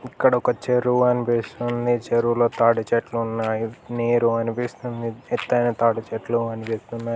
ఇక్కడ ఒక చెరువు అనిపిస్తుంది చెరువుల తాడి చెట్లు ఉన్నాయి నీరు కనిపిస్తుంది ఎత్తైన తాడి చెట్లు అనిపిస్తున్నాయి.